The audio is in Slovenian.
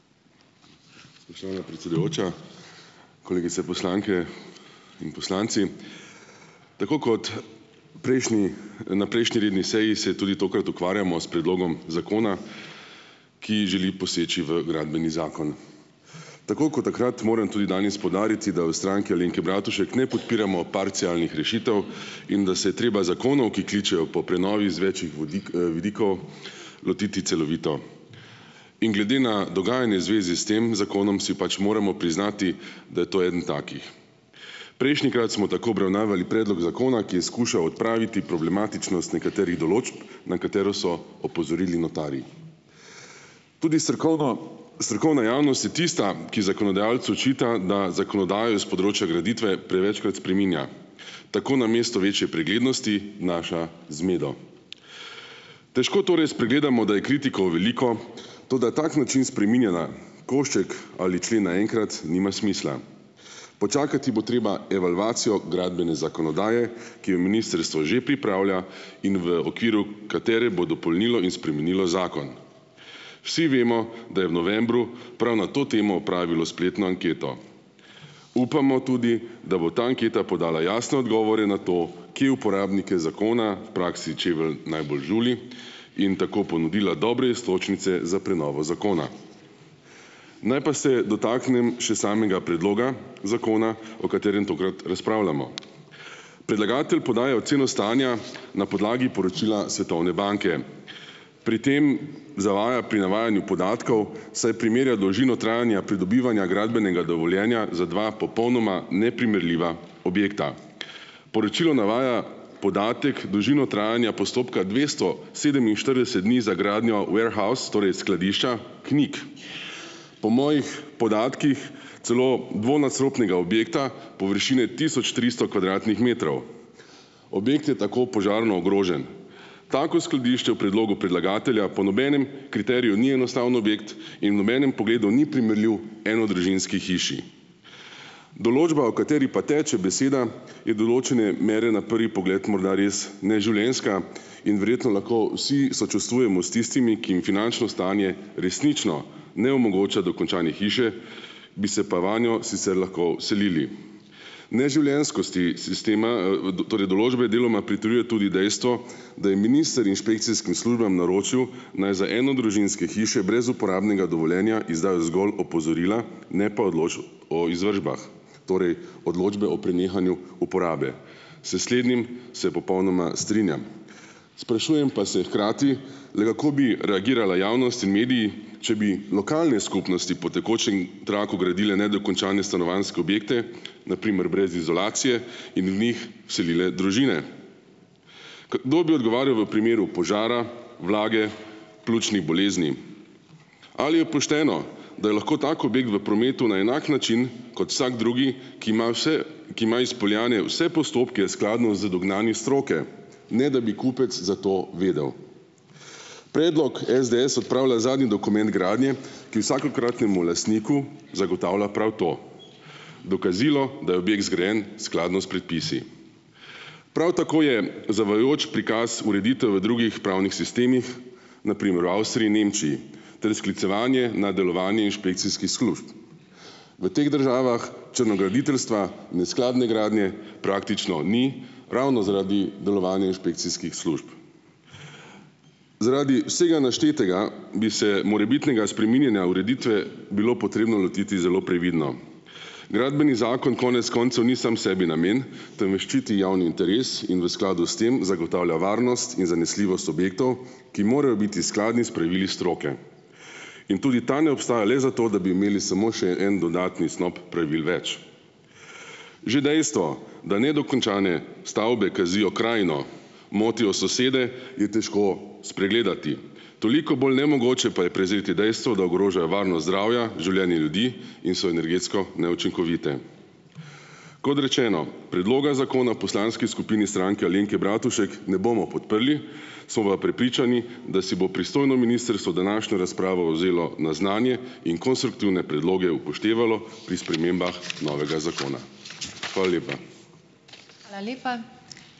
Spoštovana predsedujoča, kolegice poslanke in poslanci. Tako kot prejšnji, na prejšnji redni seji se tudi tokrat ukvarjamo s predlogom zakona, ki želi poseči v gradbeni zakon. Tako kot takrat moram tudi danes poudariti, da v Stranki Alenke Bratušek ne podpiramo parcialnih rešitev in da se je treba zakonov, ki kličejo po prenovi iz več vidikov, lotiti celovito. In glede na dogajanje v zvezi s tem zakonom si pač moramo priznati, da je to eden takih. Prejšnjikrat smo tako obravnavali predlog zakona, ki je skušal odpraviti problematičnost nekaterih določb, na katero so opozorili notarji. Tudi strokovno, strokovna javnost je tista, ki zakonodajalcu očita, da zakonodajo iz področja graditve prevečkrat spreminja, tako namesto večje preglednosti, vnaša zmedo. Težko torej spregledamo, da je kritikov veliko, toda tak način spreminjanja košček ali člen naenkrat nima smisla. Počakati bo treba evalvacijo gradbene zakonodaje, ki jo ministrstvo že pripravlja in v okviru katere bo dopolnilo in spremenilo zakon. Vsi vemo, da je v novembru prav na to temo opravilo spletno anketo. Upamo tudi, da bo ta anketa podala jasne odgovore na to, kje uporabnike zakona v praksi čevelj najbolj žuli, in tako ponudila dobre iztočnice za prenovo zakona. Naj pa se dotaknem še samega predloga zakona, o katerem tokrat razpravljamo. Predlagatelj podaja oceno stanja na podlagi poročila Svetovne banke. Pri tem zavaja pri navajanju podatkov, saj premirja dolžino trajanja pridobivanja gradbenega dovoljenja za dva popolnoma neprimerljiva objekta. Poročilo navaja podatek - dolžino trajanja postopka dvesto sedeminštirideset dni za gradnjo warehouse, torej skladišča Knik. Po mojih podatkih celo dvonadstropnega objekta površine tisoč tristo kvadratnih metrov. Objekt je tako požarno ogrožen. Tako skladišče v predlogu predlagatelja po nobenem kriteriju ni enostavni objekt in v nobenem pogledu ni primerljiv enodružinski hiši. Določba, o kateri pa teče beseda, je določene mere na prvi pogled morda res neživljenjska in verjetno lahko vsi sočustvujemo s tistimi, ki jim finančno stanje resnično ne omogoča dokončanje hiše, bi se pa vanjo sicer lahko vselili. Neživljenjskosti sistema, torej določbe deloma pritrjuje tudi dejstvo, da je minister inšpekcijskim službam naročil, naj za enodružinske hiše brez uporabnega dovoljenja izdajo zgolj opozorila, ne pa odločb o izvršbah, torej odločbe o prenehanju uporabe. S slednjim se popolnoma strinjam. Sprašujem pa se hkrati, le kako bi reagirala javnost in mediji, če bi lokalne skupnosti po tekočem traku gradile nedokončane stanovanjske objekte, na primer brez izolacije, in v njih vselile družine. Kdo bi odgovarjal v primeru požara, vlage, pljučnih bolezni? Ali je pošteno, da je lahko tak objekt v prometu na enak način kot vsak drugi, ki ima vse, ki ima izpeljane vse postopke skladno z dognanji stroke, ne da bi kupec za to vedel. Predlog SDS odpravlja zadnji dokument gradnje, ki vsakokratnemu lastniku zagotavlja prav to, dokazilo, da je objekt zgrajen skladno s predpisi. Prav tako je zavajajoč prikaz ureditev v drugih pravnih sistemih, na primer v Avstriji in Nemčiji, ter sklicevanje na delovanje inšpekcijskih služb. V teh državah črnograditeljstva, neskladne gradnje praktično ni ravno zaradi delovanja inšpekcijskih služb. Zaradi vsega naštetega bi se morebitnega spreminjanja ureditve bilo potrebno lotiti zelo previdno. Gradbeni zakon konec koncev ni sam sebi namen, temveč ščiti javni interes in v skladu s tem zagotavlja varnost in zanesljivost objektov, ki morajo biti skladni s pravili stroke. In tudi ta ne obstaja le zato, da bi imeli samo še en dodatni snop pravil več. Že dejstvo, da nedokončane stavbe kazijo krajino, motijo sosede, je težko spregledati. Toliko bolj nemogoče pa je prezreti dejstvo, da ogrožajo varnost, zdravja, življenje ljudi in so energetsko neučinkovite. Kot rečeno, predloga zakona v poslanski skupini Stranke Alenke Bratušek ne bomo podprli, smo pa prepričani, da si bo pristojno ministrstvo današnjo razpravo vzelo na znanje in konstruktivne predloge upoštevalo pri spremembah novega zakona. Hvala lepa.